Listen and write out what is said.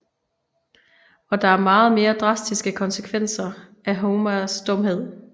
Og der er meget mere drastiske konsekvenser af Homers dumhed